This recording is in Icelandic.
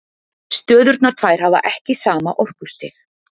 Stöðurnar tvær hafa ekki sama orkustig.